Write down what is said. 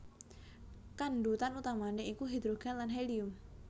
Kandhutan utamané iku hidrogen lan helium